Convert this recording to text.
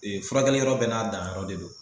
Ee furakɛli yɔrɔ bɛɛ n'a danyɔrɔ de don.